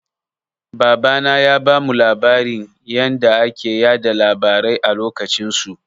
Babana ya bamu labarin yanda ake yaɗa labarai a lokacin su.